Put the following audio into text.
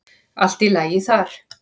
Allt í lagi þar.